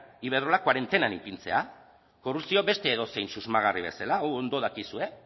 iberdrola koarentenan ipintzea korrupzio beste edozein susmagarri bezala hau ondo dakizue